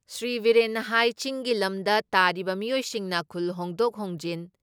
ꯁ꯭ꯔꯤ ꯕꯤꯔꯦꯟꯅ ꯍꯥꯏ ꯆꯤꯡꯒꯤ ꯂꯝꯗ ꯇꯥꯔꯤꯕ ꯃꯤꯑꯣꯏꯁꯤꯡꯅ ꯈꯨꯜ ꯍꯣꯡꯗꯣꯛ ꯍꯣꯡꯖꯤꯟ